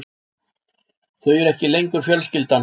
Þau eru ekki lengur fjölskyldan.